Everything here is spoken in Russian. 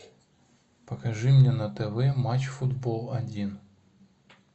покажи мне на тв матч футбол один